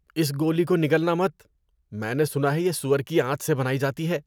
اس گولی کو نگلنا مت۔ میں نے سنا ہے یہ سور کی آنت سے بنائی جاتی ہے۔